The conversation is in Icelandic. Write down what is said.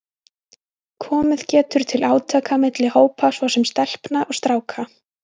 Komið getur til átaka milli hópa, svo sem stelpna og stráka.